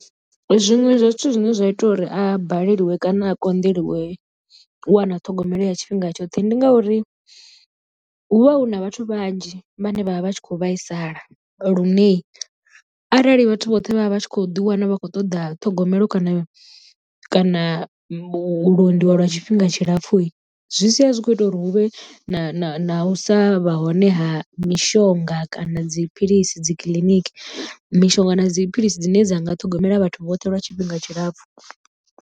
Zwiṅwe zwa zwithu zwine zwa ita uri a balelwe kana a konḓeliwe u wana ṱhogomelo ya tshifhinga tshoṱhe ndi ngauri hu vha hu na vhathu vhanzhi vhane vha vha vha tshi khou vhaisala lune arali vhathu vhoṱhe vha vha vha tshi kho ḓi wana vha khou ṱoḓa ṱhogomelo kana kana u londiwa lwa tshifhinga tshilapfhu, zwi sia zwi kho ita uri hu vhe na u sa vha hone ha mishonga kana dziphilisi dzi kiḽiniki mishonga na dziphilisi dzine dza nga ṱhogomela vhathu vhoṱhe lwa tshifhinga tshilapfhu.